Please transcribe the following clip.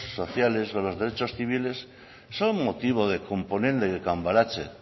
sociales o los derechos civiles son motivo de